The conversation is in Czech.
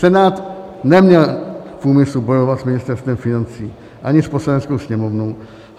Senát neměl v úmyslu bojovat s Ministerstvem financí ani s Poslaneckou sněmovnou.